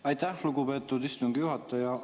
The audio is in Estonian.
Aitäh, lugupeetud istungi juhataja!